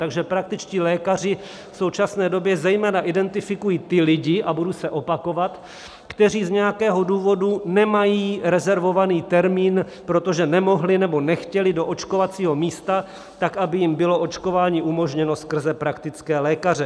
Takže praktičtí lékaři v současné době zejména identifikují ty lidi, a budu se opakovat, kteří z nějakého důvodu nemají rezervovaný termín, protože nemohli nebo nechtěli do očkovacího místa, tak aby jim bylo očkování umožněno skrze praktické lékaře.